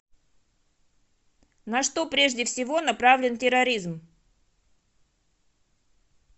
на что прежде всего направлен терроризм